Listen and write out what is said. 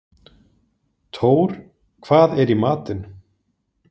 Thor, hvað er í matinn?